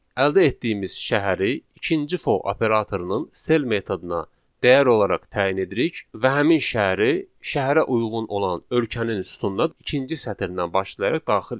Əldə etdiyimiz şəhəri ikinci for operatorunun cell metoduna dəyər olaraq təyin edirik və həmin şəhəri şəhərə uyğun olan ölkənin sütunun ikinci sətirdən başlayaraq daxil edirik.